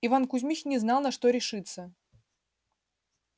иван кузмич не знал на что решиться